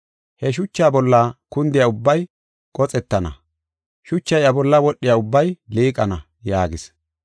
He shuchaa bolla kundiya ubbay qoxettana, shuchay iya bolla wodhiya ubbay liiqana” yaagis.